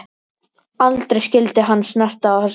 Aldrei skyldi hann snerta á þessu barni.